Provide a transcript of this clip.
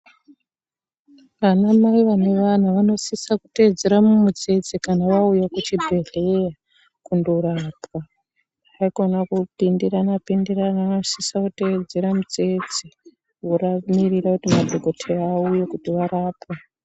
Anamai vanevana vanosisa kuteedzera mumutsetse kana vauya kuchibhedhleya kundorapwa haikona kupindirana pindirana vanosisa kuteedzera mitsitse vamirira kuti madhokoteya auye kuti varapwe.